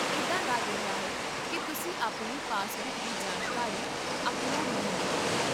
ਇੱਦਾਂ ਲੱਗ ਰਿਹਾ ਹੈ ਕਿ ਤੁਸੀਂ ਆਪਣੀ ਪਾਸਬੁੱਕ ਦੀ ਜਾਣਕਾਰੀ ਅਪਲੋਡ ਨਹੀਂ ਕੀਤੀ ਹੈ